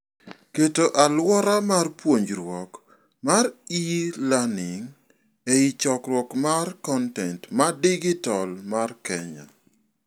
Keto aluora mar puonjruok mar e-learning ei chokruok mar kontent ma digital mar Kenya.